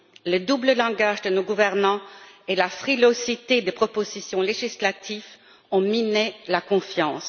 Le double langage de nos gouvernants et la frilosité des propositions législatives ont miné la confiance.